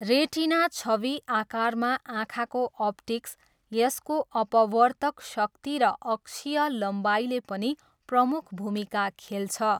Retina छवि आकारमा आँखाको अप्टिक्स यसको अपवर्तक शक्ति र अक्षीय लम्बाइले पनि प्रमुख भूमिका खेल्छ।